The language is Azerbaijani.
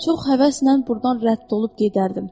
Çox həvəslə burdan rədd olub gedərdim.